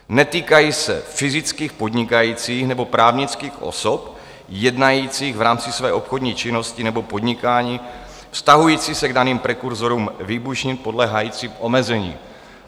Netýkají se fyzických podnikajících nebo právnických osob jednajících v rámci své obchodní činnosti nebo podnikání vztahující se k daným prekurzorům výbušnin podléhajícím omezení.